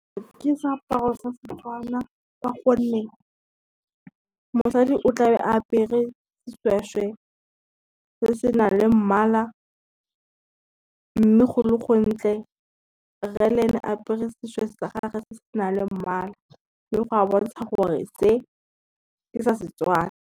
Ke seaparo sa Setswana ka gonne, mosadi o tla be a apere seshweshwe se se nang le mmala, mme go le gontle. Rre le ene apere seshweshwe sa gage se se nang le mmala, mme go a bontsha gore se ke sa Setswana.